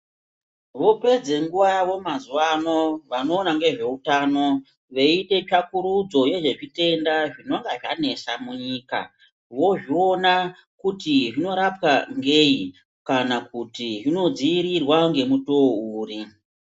Vopedza nguva yavo mazuwa ano, vanoona ngezveutano, veiite tsvakurudzo yezvezvitenda zvinonga zvanesa munyika, vozviona kuti zvinorapwa ngei, kana kuti zvinodziirirwa ngemutoo uri?